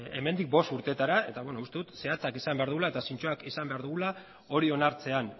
hemendik bost urteetara eta beno uste dut zehatzak izan behar dugula eta zintzoak izan behar dugula hori onartzean